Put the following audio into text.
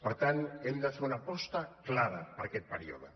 per tant hem de fer una aposta clara per aquest període